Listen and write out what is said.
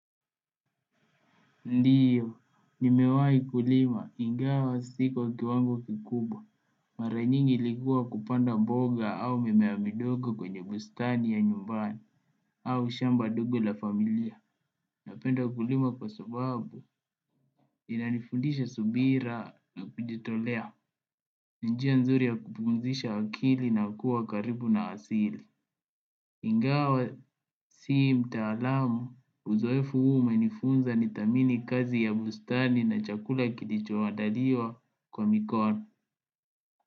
Ndiyo, nimewahi kulima ingawa sio kwa kiwango kikubwa. Mara nyingi ilikua kupanda mboga au mimea midogo kwenye bustani ya nyumbani au shamba dogo la familia. Napenda ukulima kwa sababu inanifundisha subira na kujitolea. Ni njia nzuri ya kupumzisha akili na kuwa karibu na asili. Ingawa sio mtaalam uzoefu huu umenifunza nithamini kazi ya bustani na chakula kilichoandaliwa kwa mikono.